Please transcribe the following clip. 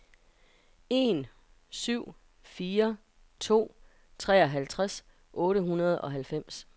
en syv fire to treoghalvtreds otte hundrede og halvfems